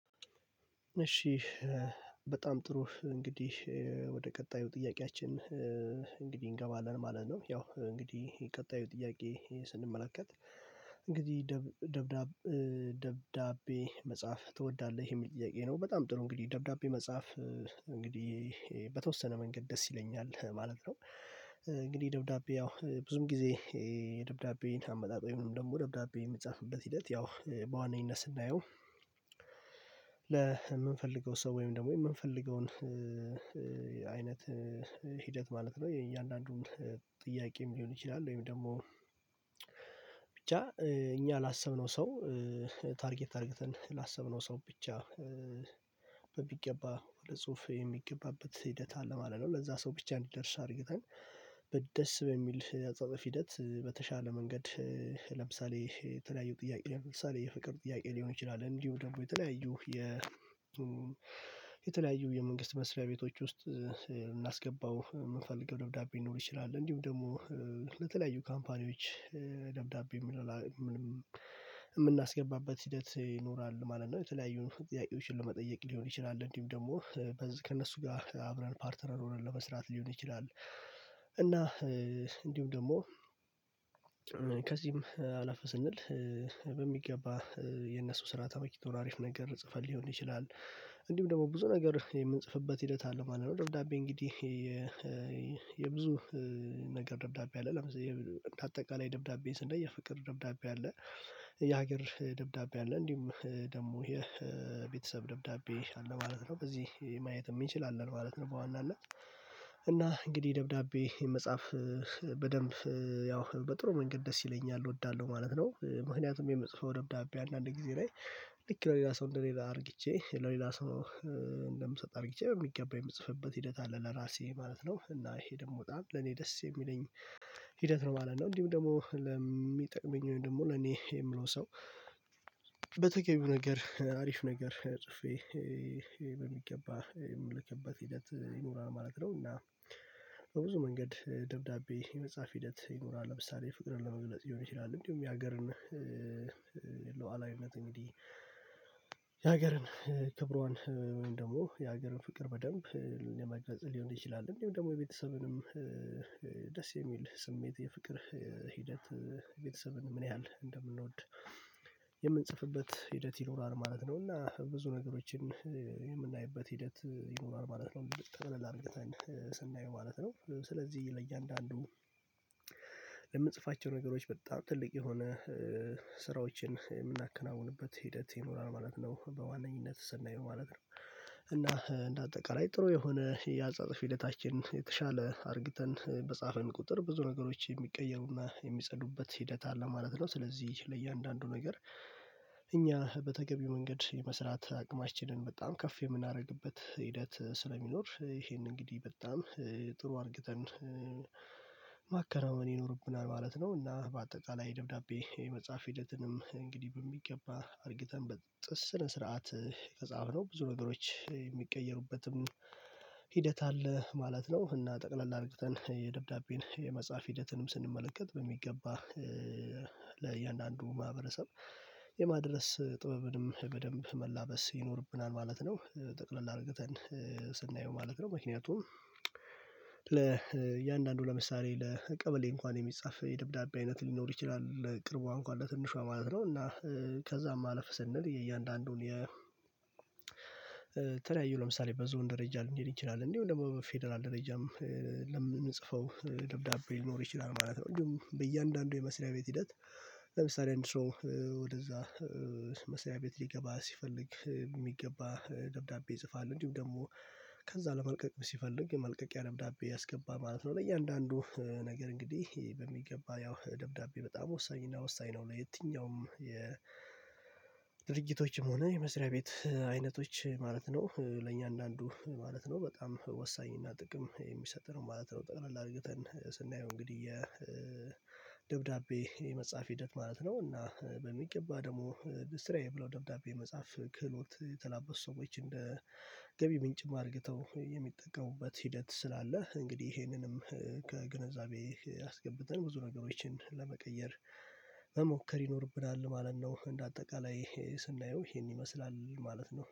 እሺ በጣም ጥሩ እንግዲህ ወደ ቀጣዩ ጥያቄያችን እንግዲህ እንገባለን ማለት ነው ያው እንግዲህ ቀጣዩ ጥያቄ ስንመለከት እንግዲህ ደብ ደብዳ ደብዳቤ መጻፍ ትወዳለህ? የሚል ጥያቄ ነው በጣም ጥሩ እንግዲህ ደብዳቤ መጻፍ እንግዲህ በተወሰነ መንገድ ደስ ይለኛል ማለት ነው እንግዲህ ደብዳቤ ያው ብዙን ጊዜ የደብዳቤን አመጣጥ ወይም ደግሞ ደብዳቤ የሚጻፍበት ሂደት ያው በዋነኝነት ስናየው ለምንፈልገው ሰው ወይም ደግሞ የምንፈልገውን አይነት ሂደት ማለት ነው የእያንዳንዱን ጥያቄም ሊሆን ይችላል ወይም ደግሞ ብቻ እኛ ላሰብነው ሰው ታርጌት አርግተን ላሰብነው ሰው ብቻ በሚገባ ለጽሁፍ የሚገባበት ሂደት አለ ማለት ነው ለዛ ሰው ብቻ እንዲደርስ አርግተን በደስ በሚል የአጻጻፍ ሂደት በተሻለ መንገድ ለምሳሌ የተለያዩ ጥያቄ ለምሳሌ የፍቅር ጥያቄ ሊሆን ይችላል እንዲሁ ደግሞ የተለያዩ የ የተለያዩ የመንግስት መስሪያ ቤቶች ውስጥ እናስገባው የምንፈልገው ደብዳቤ ሊኖር ይችላል እንዲሁ ደግሞ ለተለያዩ ካምፓኒዎች ደብዳቤ እምናስገባበት ሂደት ይኖራል ማለት ነው የተለያዩን ጥያቄዎችን ለመጠየቅ ሊሆን ይችላል እንዲሁም ደግሞ ከእነሱ ጋር አብረን ፓርትነር ሆነን ለመስራት ሊሆን ይችላል እና እንዲሁ ደግሞ ከዚህም አለፍ ስንል በሚገባ የነሱ ስራ ተመችቶን አሪፍ ነገር ጽፈን ሊሆን ይችላል እንዲሁም ደግሞ ብዙ ነገር የምንጽፍበት ሂደት አለ ማለት ነው ደብዳቤ እንግዲህ የብዙ ነገር ደብዳቤ አለ ለምሳሌ እንደ አጠቃላይ ደብዳቤን ስናይ የፍቅር ደብዳቤ አለ የሀገር ደብዳቤ አለ እንዲሁም ደግሞ የቤተሰብ ደብዳቤ አለ ማለት ነው በዚህ ማየትም እንችላለንማለት ነው በዋናነት እና እንግዲህ ደብዳቤ መጻፍ በደንብ ያው በጥሩ መንገድ ደስ ይለኛል እወዳለሁ ማለት ነው ምክንያቱም የመጽሐፍ ደብዳቤ አንዳንድ ጊዜ ላይ ልክ ሌላ ሰው እንደሌላ አርግቼ ለሌላ ሰው እንደምሰጥ አርግቼ የሚገባኝ የምጽፍበት ሂደት አለ ለራሴ ማለት ነው እና ይሄ ደግሞ በጣም ለኔ ደስ የሚለኝ ሂደት ነው ማለት ነው እንዲሁ ደግሞ ለሚጠቅመኝ ደግሞ ለኔ የምለው ሰው በተገቢው ነገር አሪፍ ነገር ጽፌ በሚገባ የምልከበት ሂደት ይኖራል ማለት ነው እና በብዙ መንገድ ደብዳቤ የመጻፍ ሂደት ይኖራል ለምሳሌ ፍቅርን ለመግለጽ ሊሆን ይችላል እንዲሁም የሀገርን ሉዓላዊነት እንግዲህ የሀገርን ክብሯን ደግሞ የሀገርን ፍቅር በደንብ የመገንዘብ ሊሆን ይችላል እንዴም ደግሞ የቤተሰብንም ደስ የሚል ስሜት የፍቅር ሂደት ቤተሰብን ምን ያህል እንደምንወድ የምንጽፍበት ሂደት ይኖራል ማለት ነው እና ብዙ ነገሮችን የምናይበት ሂደት ይኖራል ማለት ነው ጠቅለል አርግተን ስናየው ማለት ነው ስለዚህ ለእያንዳንዱ ለምንጽፋቸው ነገሮች በጣም ትልቅ የሆነ ስራዎችን የምናከናውንበት ሂደት ይኖራል ማለት ነው በዋነኝነት ስናየው ማለት ነው እና እንደ አጠቃላይ ጥሩ የሆነ የአጻታፍ ሂደታችን የተሻለ አርግተን በጻፈን ቁጥር ብዙ ነገሮች የሚቀየሩና የሚጸዱበት ሂደት አለ ማለት ነው ስለዚህ ለእያንዳንዱ ነገር እኛ በተገቢው መንገድ የመስራት አቅማችንን በጣም ከፍ የምናደርግበት ሂደት ስለሚኖር ይሄን እንግዲህ በጣም ጥሩ አርግተን ማከናወን ይኖርብናል ማለት ነው እና በአጠቃላይ ደብዳቤ የመጻፍ ሂደትንም እንግዲህ በሚገባ አርግተን በ ጥ ስነ ስርዓት ከጻፍነው ብዙ ነገሮች የሚቀየሩበትም ሂደት አለ ማለት ነው እና ጠቅለል አርግተን የደብዳቤን የመጻፍ ሂደትንም ስንመለከት በሚገባ ለእያንዳንዱ ማህበረሰብ የማድረስ ጥበብንም በደንብ መላበስ ይኖርብናል ማለት ነው ጠቅለል አርገተን ስናየው ማለት ነው ምክንያቱም ለእያንዳንዱ ለምሳሌ ለቀበሌ እንኳን የሚጻፍ የደብዳቤ አይነት ሊኖር ይችላል ቅርቧ እንኳን ለትንሿ ማለት ነው እና ከዛ ማለፍ ስንል የእያንዳንዱን የ ተለያዩ ለምሳሌ በዞን ደረጃ ልንሄድ እችላለን እንዲሁም ደግሞ በፌደራል ደረጃም ለምንጽፈው ደብዳቤ ሊኖር ይችላል ማለት ነው ሁሉም በእያንዳንዱ የመስሪያ ቤት ሂደት ለምሳሌ አንድ ሰው ወደዛ መስሪያ ቤት ሊገባ ሲፈልግ የሚገባ ደብዳቤ ይጽፋል እንዲሁም ደግሞ ከዛ ለመልቀቅ ሲፈልግ የመልቀቂያ ደብዳቤ ያስገባ ማለት ነው ለእያንዳንዱ ነገር እንግዲህ በሚገባ ያው ደብዳቤ በጣም ወሳኝና ወሳኝ ነው ለየትኛውም የ ድርጊቶችም ሆነ የመስሪያ ቤት አይነቶች ማለት ነው ለእያንዳንዱ ማለት ነው በጣም ወሳኝ እና ጥቅም የሚሰጥ ነው ማለት ነው ጠቅላል አርግተን ስናየው እንግዲህ የደብዳቤ የመጻፍ ሂደት ማለት ነው እና በሚገባ ደግሞ ስራዬ ብለው ደብዳቤ መጻፍ ክህሎት የተላበሱ ሰዎች እንደ ገቢ ምንጭም አርግተው የሚጠቀሙበት ሂደት ስላለ እንግዲህ ይሄንንም ከግንዛቤ አስገብተን ብዙ ነገሮችን ለመቀየር መሞከር ይኖርብናል ማለት ነው እንደ አጠቃላይ ስናየው ይሄን ይመስላል ማለት ነው